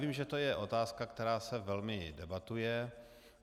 Vím, že to je otázka, která se velmi debatuje.